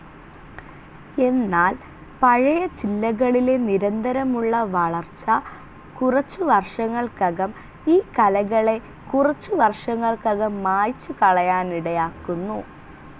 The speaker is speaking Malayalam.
എന്നാൽ പഴയ ചില്ലകളിലെ നിരന്തരമുള്ള വളർച്ച കുറച്ചു വർഷങ്ങൾക്കകം ഈ കലകളെ കുറച്ചുവർഷങ്ങൾക്കകം മായ്ച്ചുകളയാനിടയാക്കുന്നു.